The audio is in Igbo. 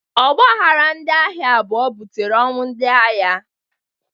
Ọgbaghara ndị agha abụọ butere ọnwụ ndị agha.